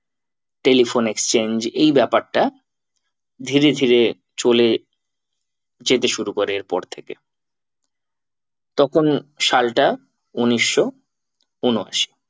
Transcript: Telephone exchange এই ব্যাপারটা ধীরে ধীরে চলে যেতে শুরু করে এর পর থেকে। তখন সালটা উনিশশো ঊনআশি